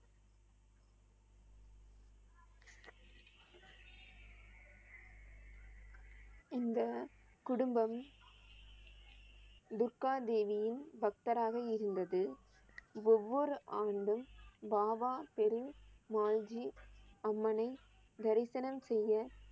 இந்த குடும்பம் துர்கா தேவியின் பக்தராக இருந்தது. ஒவ்வொரு ஆண்டும் பாபா பெரு மால்ஜி அம்மனை தரிசனம் செய்ய